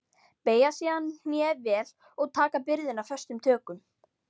Beygja síðan hné vel og taka byrðina föstum tökum.